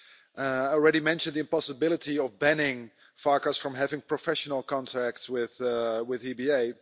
I already mentioned the impossibility of banning Mr Farkas from having professional contacts with the EBA.